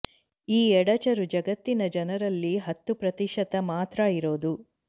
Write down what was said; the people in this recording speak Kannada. ಈ ಎಡಚರು ಜಗತ್ತಿನ ಜನರಲ್ಲಿ ಹತ್ತು ಪ್ರತಿಶತ ಮಾತ್ರ ಇರೋದು